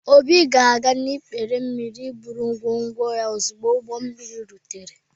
Obi ga-aga n’ikpere mmiri iburu ngwongwo ya ozugbo ụgbọ mmiri rutere.